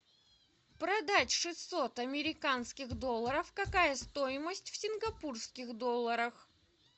продать шестьсот американских долларов какая стоимость в сингапурских долларах